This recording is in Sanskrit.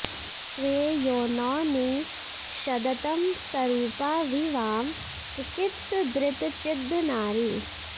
स्वे योनौ नि षदतं सरूपा वि वां चिकित्सदृतचिद्ध नारी